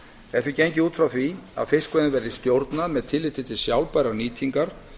er því gengið út frá því að fiskveiðum verði stjórnað með tilliti til sjálfbærrar nýtingar